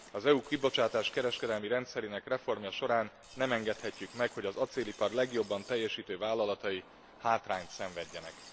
Az EU kibocsátáskereskedelmi rendszerének reformja során nem engedhetjük meg, hogy az acélipar legjobban teljesítő vállalatai hátrányt szenvedjenek.